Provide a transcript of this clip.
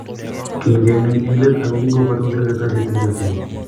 Kiinde ngweny eng let ako kingopata koserei kartasit eng chokchinet